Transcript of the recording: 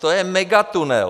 To je megatunel!